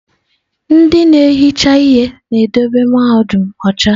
Ndị na-ehicha ihe na-edobe mahadum ọcha.